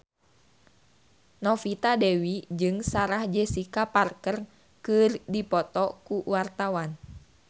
Novita Dewi jeung Sarah Jessica Parker keur dipoto ku wartawan